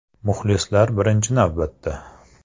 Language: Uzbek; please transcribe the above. Muxlislar birinchi navbatda.